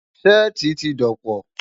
Ṣẹ́ẹ̀tì ti dọ̀pọ̀.